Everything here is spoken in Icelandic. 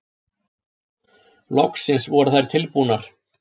Loksins voru þær tilbúnar.